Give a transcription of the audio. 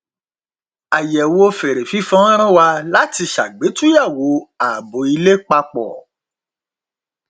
àyẹwò fèrè fífọn rán wa látí ṣàgbétúyẹwò ààbò ilé papọ